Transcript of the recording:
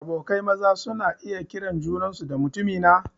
Abokai maza suna iya kiran junansu da "mutumina"